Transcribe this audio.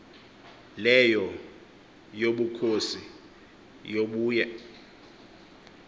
leyo yobukhosi yobuye